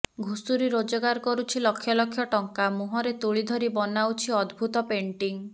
ଘୁଷୁରୀ ରୋଜଗାର କରୁଛି ଲକ୍ଷ ଲକ୍ଷ ଟଙ୍କା ମୁହଁରେ ତୁଳି ଧରି ବନାଉଛି ଅଦ୍ଭୁତ ପେଣ୍ଟଂ